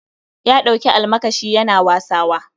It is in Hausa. Ya ɗauki almakashi Yana wasawa